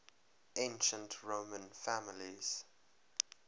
ancient roman families